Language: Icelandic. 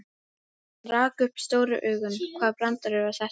Hann rak upp stór augu, hvaða brandari var þetta?